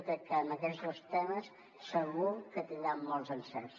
jo crec que amb aquests dos temes segur que tindrà molts encerts